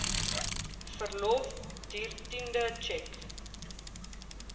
verlof dertiende tjek